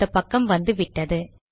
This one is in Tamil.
அந்த பக்கம் வந்து விட்டது